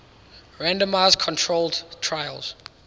randomized controlled trials